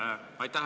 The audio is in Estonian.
Aitäh!